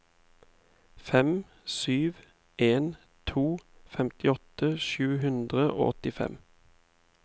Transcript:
fem sju en to femtiåtte sju hundre og åttifem